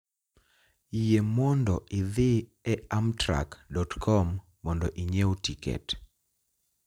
yie mondo idhi e amtrak dot com mondo inyiew tiket